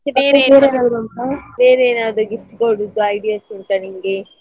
ಮತ್ತೆ ಬೇರೆ ಬೇರೆ ಏನಾದ್ರು gift ಕೊಡುದು ideas ಉಂಟಾ ನಿಂಗೆ?